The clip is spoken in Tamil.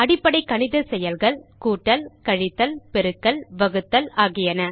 அடிப்படை கணித செயல்கள் கூட்டல் கழித்தல் பெருக்கல் வகுத்தல் ஆகியன